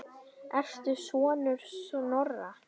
Ertu sonur Snorra?